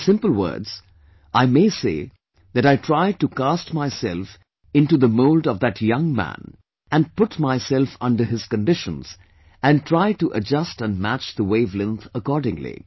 In simple words, I may say that I try to cast myself into the mould of that young man, and put myself under his conditions and try to adjust and match the wave length accordingly